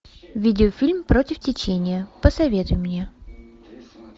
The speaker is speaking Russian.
видеофильм против течения посоветуй мне